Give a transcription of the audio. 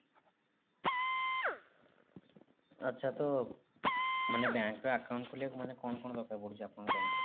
ଆଚ୍ଛା ତ ମାନେ bank ରେ account ଖୋଲିବାକୁ ମାନେ କଣ କଣ ଦରକାର ପଡୁଛି ଆପଣଙ୍କ bank ରେ?